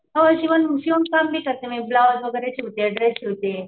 हो शिवण क्लास बी करते म्हणजे ब्लाउज वगैरे शिवते ड्रेस शिवते.